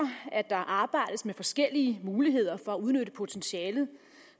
at der arbejdes med forskellige muligheder for at udnytte potentialet